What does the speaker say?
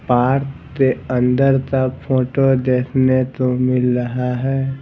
Part के अंदर का फोटो देखने को मिल रहा हैं ।